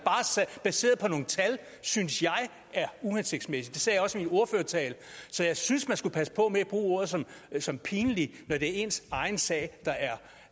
baseret på nogle tal synes jeg er uhensigtsmæssig det sagde jeg også i min ordførertale så jeg synes man skulle passe på med at bruge ord som som pinlig når det er ens egen sag der